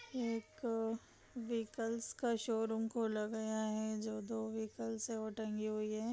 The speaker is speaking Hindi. एक व्हीकल्स का शोरूम खोला गया है जो दो व्हीकल है वो टंगी हुई है